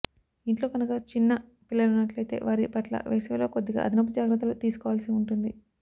ఇంట్లో కనుక చిన్న పిల్లలున్నట్లైతే వారి పట్ల వేసవిలో కొద్దిగా అదనపు జాగ్రత్తలు తీసుకోవాల్సి ఉంటుంది